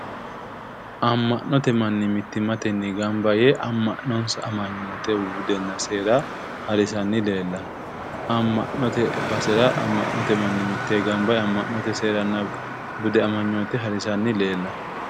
Amma'note manni mittimmatenni gamba yee amma'nonsa amanyoote budenna seera harisanni leellanno. amma'note basera amma'note manni mittee gamba yee amma'note seernna bude harisanni leellanno.